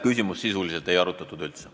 Küsimust sisuliselt ei arutatud üldse.